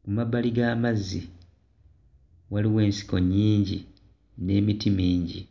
ku mabbali g'amazzi waliwo ensiko nnyingi n'emiti mingi.